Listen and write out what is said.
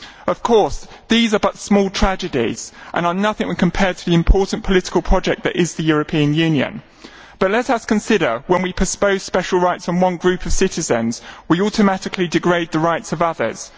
Of course, these are but small tragedies and are nothing when compared to the important political project that is the European Union, but let us consider that when we propose special rights on one group of citizens, we automatically degrade the rights of others.